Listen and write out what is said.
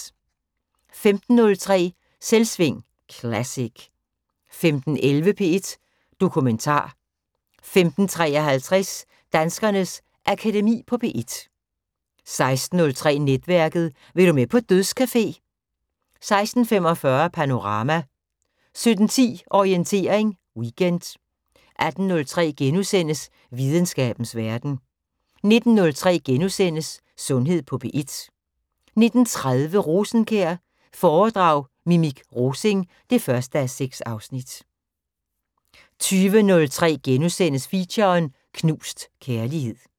15:03: Selvsving Classic 15:11: P1 Dokumentar 15:53: Danskernes Akademi på P1 16:03: Netværket: Vil du med på dødscafé? 16:45: Panorama 17:10: Orientering Weekend 18:03: Videnskabens Verden * 19:03: Sundhed på P1 * 19:30: Rosenkjær foredrag Mimik Rosing 1:6 20:03: Feature: Knust kærlighed *